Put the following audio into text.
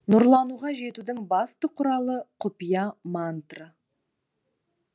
нұрлануға жетудің басты құралы құпия мантра